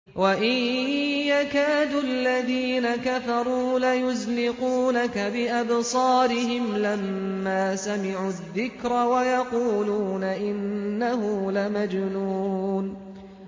وَإِن يَكَادُ الَّذِينَ كَفَرُوا لَيُزْلِقُونَكَ بِأَبْصَارِهِمْ لَمَّا سَمِعُوا الذِّكْرَ وَيَقُولُونَ إِنَّهُ لَمَجْنُونٌ